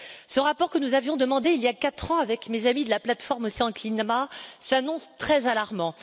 Ce rapport, que nous avions demandé il y a quatre ans, avec mes amis de la plateforme Océan et Climat, s'annonce très alarmant.